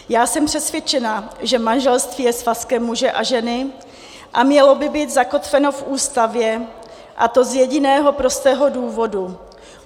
Já jsem přesvědčena, že manželství je svazkem muže a ženy a mělo by být zakotveno v Ústavě, a to z jediného prostého důvodu.